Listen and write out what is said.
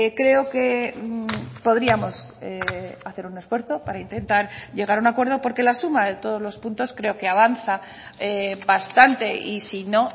creo que podríamos hacer un esfuerzo para intentar llegar a un acuerdo porque la suma de todos los puntos creo que avanza bastante y si no